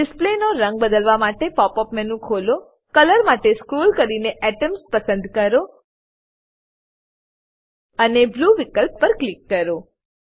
display નો રંગ બદલવા માટે પોપ અપ મેનુ ખોલો કલર માટે સ્કોલ કરી એટમ્સ પસંદ કરો અને Blueવિકલ્પ પર ક્લિક કરો